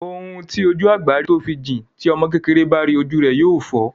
Ohun tí ojú àgbà rí tó fi jìn, ti ọmọ kékeré bá ríi ojú rẹ yóò fọ́.